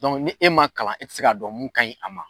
ni e ma kalan, e te se ka dɔn mun ka ɲi a ma.